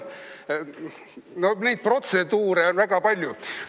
No protseduure on väga palju.